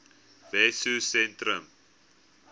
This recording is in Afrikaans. wessosentrum